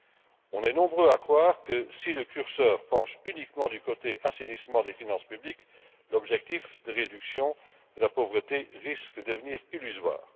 Nous sommes nombreux à croire que si le curseur penche uniquement du côté de l'assainissement des finances publiques, l'objectif de réduction de la pauvreté risque de devenir illusoire.